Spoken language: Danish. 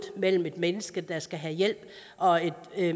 mellem et menneske der skal have hjælp og et